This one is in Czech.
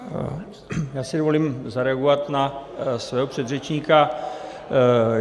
Já si dovolím zareagovat na svého předřečníka.